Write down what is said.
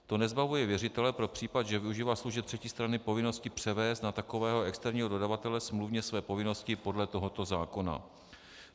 To nezbavuje věřitele pro případ, že využívá služeb třetí strany, povinnosti převést na takového externího dodavatele smluvně své povinnosti podle tohoto zákona.